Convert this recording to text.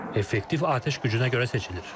Effektiv atəş gücünə görə seçilir.